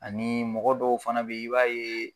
Ani mɔgɔ dɔw fana be yen ,i b'a ye